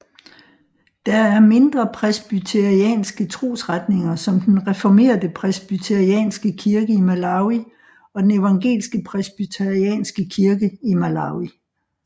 Der er mindre presbyterianske trosretninger som den reformerte Presbyterianske Kirke i Malawi og den evangelske Presbyterianske Kirke i Malawi